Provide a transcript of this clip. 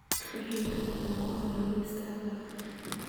wixii kale ee ku haray liiskaaga